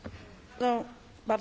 Panie Przewodniczący!